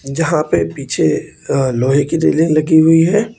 जहां पे पीछे लोहे की रेलिंग लगी हुई है।